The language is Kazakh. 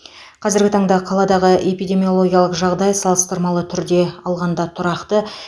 қазіргі таңда қаладағы эпидемиологиялық жағдай салыстырмалы түрде алғанда тұрақты